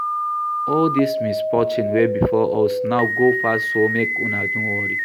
All dis misfortune wey befall us now go pass so make una no worry